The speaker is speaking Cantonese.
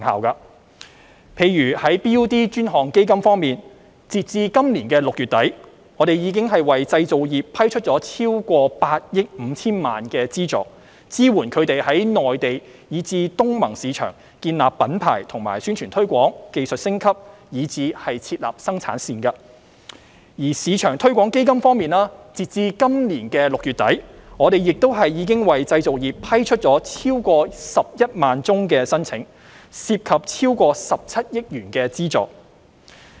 例如在 BUD 專項基金方面，截至今年6月底，我們已為製造業批出超過8億 5,000 萬元的資助，支援他們在內地及東南亞國家聯盟市場建立品牌及宣傳推廣、技術升級，以至設立生產線；而中小企業市場推廣基金方面，截至今年6月底，我們亦已為製造業批出超過11萬宗申請，涉及超過17億元的資助。